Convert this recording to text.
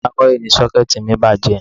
Ní àárọ̀ yìí ni Ṣọ́kẹ́ẹ̀tì mi bàjẹ́